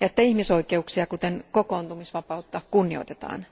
ja että ihmisoikeuksia, kuten kokoontumisvapautta, kunnioitetaan.